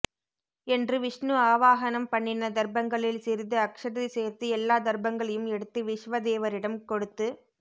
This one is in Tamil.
என்று விஷ்ணு ஆவாஹனம் பண்ணின தர்பங்களில் சிறிது அக்ஷதை சேர்த்து எல்லா தர்பங்களையும் எடுத்து விச்வேதேவரிடமே கொடுத்து